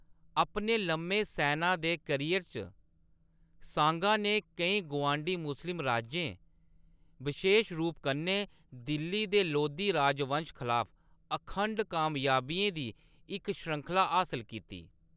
अपने लम्मे सैना दे करियर च, सांगा ने केईं गुआंढी मुस्लिम राज्यें, बशेश रूप कन्नै दिल्ली दे लोधी राजवंश खलाफ अखंड कामयाबियें दी इक श्रृंखला हासल कीती।